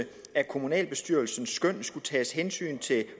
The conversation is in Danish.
af kommunalbestyrelsens skøn skulle tages hensyn til